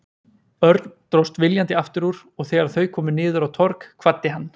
Örn dróst viljandi aftur úr og þegar þau komu niður á Torg kvaddi hann.